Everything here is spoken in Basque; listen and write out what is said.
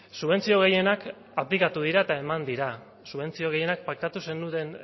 subentzio gehienak aplikatu dira eta eman dira subentzio gehienak paktatu zenuten